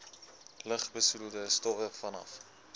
lugbesoedelende stowwe vanaf